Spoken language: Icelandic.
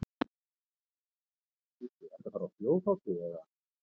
Andri: Ertu að fara, bíddu, ertu að fara á þjóðhátíð eða?